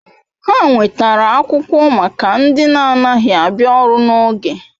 Ha nwetara akwukwo maka ndi na anaghi abia oru n'oge